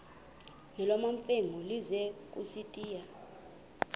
nolwamamfengu ize kusitiya